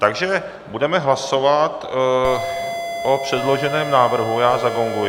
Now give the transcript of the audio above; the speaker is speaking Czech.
Takže budeme hlasovat o předloženém návrhu, já zagonguji.